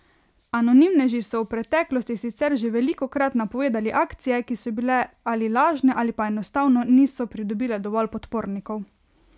Anonimneži so v preteklosti sicer že velikokrat napovedali akcije, ki so bile ali lažne ali pa enostavno niso pridobile dovolj podpornikov.